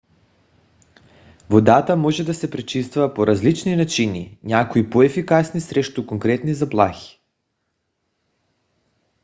водата може да се пречиства по различни начини някои по - ефикасни срещу конкретни заплахи